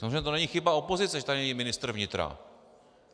Samozřejmě to není chyba opozice, že tady není ministr vnitra.